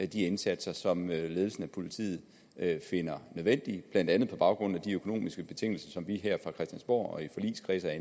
de indsatser som ledelsen af politiet finder nødvendige blandt andet på baggrund af de økonomiske betingelser som vi her fra christiansborg og i forligskredse